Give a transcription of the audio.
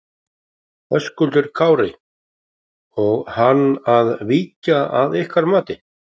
Höskuldur Kári: Og á hann að víkja að ykkar mati?